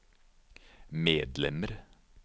medlemmer